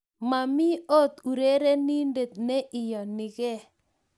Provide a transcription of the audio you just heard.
Momi ot urerenindet ne iyoni ke.